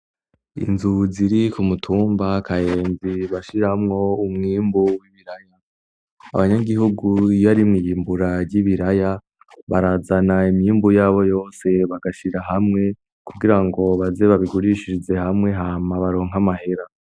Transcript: Inzu ziri ku mutumba Kayenzi bashiramwo umwimbu w'ibiraya. Abanyagihugu iyo ari mw' iyimbura ry'ibiraya, barazana imyimbu yabo yose bagashira hamwe kugira ngo baze babigurishize hamwe hama baronke amahera.